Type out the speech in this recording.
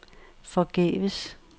forgæves